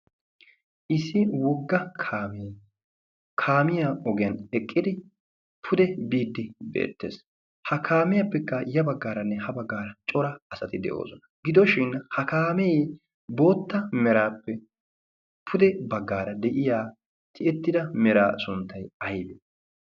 Issi wugga kaamiyaa ogiyan eqqidi pude biddi beettees. ha kaamiyaappekka ya baggaaranne ha baggaara cora asati de'oosona. gidooshin ha kaamii bootta meraappe pude baggaara de'iya tiyettida meraa sunttay aybi?